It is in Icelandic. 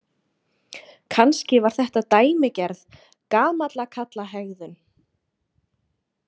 Kannski var þetta dæmigerð gamallakarlahegðun.